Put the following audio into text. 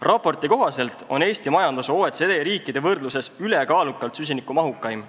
Raporti kohaselt on Eesti majandus OECD riikide võrdluses ülekaalukalt süsinikumahukaim.